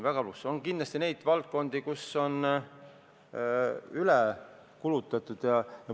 Kindlasti on valdkondi, kus on üle kulutatud.